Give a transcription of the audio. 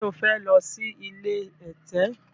ṣe o fè ló sì ilé ẹ̀tẹ̀?